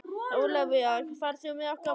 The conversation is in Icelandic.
Ólafía, ferð þú með okkur á mánudaginn?